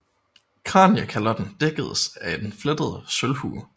Kraniekalotten dækkedes af en flettet sølvhue